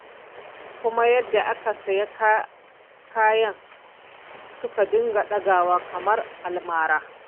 Kuma ma yadda kayan suka dinga ɗagawa kamar a almara.